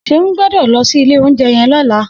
Seun gbõdõ lõsí ìlé ounjé yen lõlá